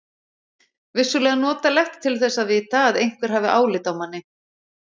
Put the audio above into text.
Vissulega notalegt til þess að vita að einhver hafi álit á manni.